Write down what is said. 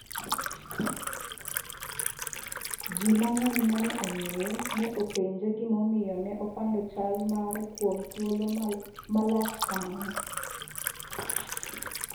Ji mang'eny mane ong'eye ne openje gima omiyo ne opando chal mare kuom thuolo malach kamano.